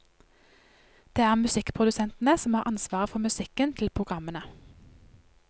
Det er musikkprodusentene som har ansvaret for musikken til programmene.